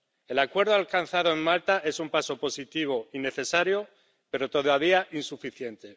El acuerdo alcanzado en Malta es un paso positivo y necesario, pero todavía insuficiente.